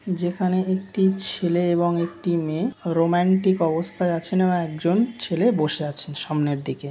যেখানে একটি ছেলে এবং একটি মেয়ে রোমান্টিক অবস্থায় আছেন ও এক জন ছেলে বসে আছেন সামনের দিকে।